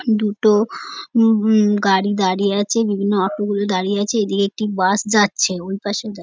দুটো অম ব অম গাড়ি দাঁড়িয়ে আছে বিভিন্ন অটো গুলো দাঁড়িয়ে আছে এদিকে একটি বাস যাচ্ছে ওইপাশে যা--